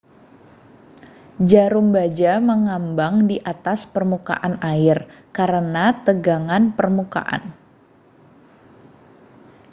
jarum baja mengambang di atas permukaan air karena tegangan permukaan